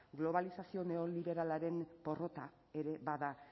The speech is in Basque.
globalizazio neoliberalaren porrota ere bada